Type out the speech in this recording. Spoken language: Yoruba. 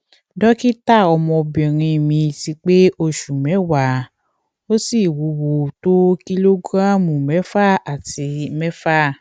dókítà ọmọbìnrin mi ti pé oṣù mẹwàá ó sì wúwo tó kìlógíráàmù mẹfà àti mẹfà